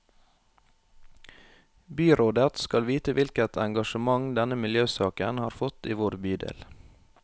Byrådet skal vite hvilket engasjement denne miljøsaken har fått i vår bydel.